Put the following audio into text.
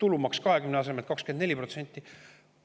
Tulumaks 20% asemel 24%.